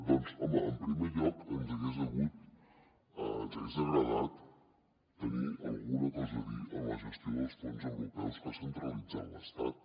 doncs home en primer lloc ens hagués agradat tenir alguna cosa a dir en la gestió dels fons europeus que ha centralitzat l’estat